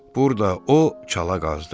Burda o çala qazdı.